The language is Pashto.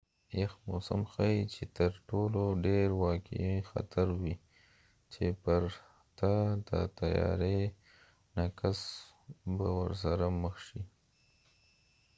یخ موسم ښایې چې تر ټولو ډیر واقعی خطر وي چې پرته د تیاری نه کس به ورسره مخ شي